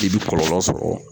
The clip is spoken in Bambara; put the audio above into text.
K'i bi kɔlɔlɔ sɔrɔ